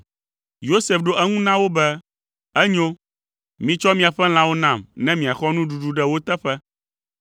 Yosef ɖo eŋu na wo be, “Enyo, mitsɔ miaƒe lãwo nam ne miaxɔ nuɖuɖu ɖe wo teƒe.”